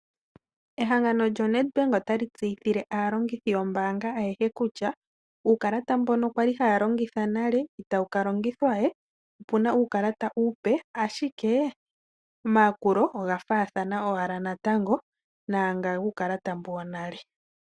Ehangano lyoNedbank ota li tseyithile aantu mboka ayehe kutya uukalata mbono kwa li haya longitha nale itawu ka longithwa we opuna uukalata uupe, ashike omayakulo oga faathana owala naanga guukalata wonale.